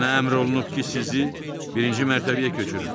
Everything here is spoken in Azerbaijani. Mənə əmr olunub ki, sizi birinci mərtəbəyə köçürüm.